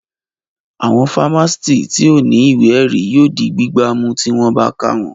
Àwọn fámásìtì tí ò ní ìwé ẹ̀rí yóò di gbígbá mú tí wọ́n bá ká wọn